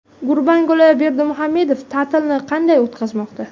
Gurbanguli Berdimuhamedov ta’tilni qanday o‘tkazmoqda?